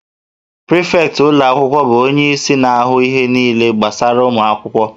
Prịfektị ụlọ akwụkwọ bụ onyeisi na-ahụ ihe niile gbasara ụmụ akwụkwọ